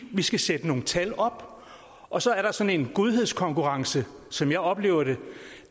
vi skal sætte nogle tal op og så er der sådan en godhedskonkurrence som jeg oplever det